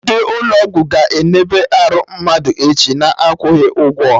Ndị ụlọ ọgwụ ga-eneba arụ mmadụ echi, na-akwụghị ụgwọ